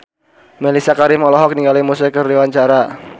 Mellisa Karim olohok ningali Muse keur diwawancara